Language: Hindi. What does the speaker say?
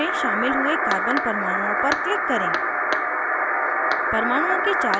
फिर doublebond में शामिल हुए carbon परमाणुओं पर click करें